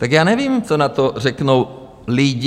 Tak já nevím, co na to řeknou lidi.